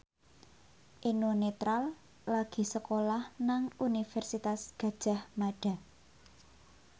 Eno Netral lagi sekolah nang Universitas Gadjah Mada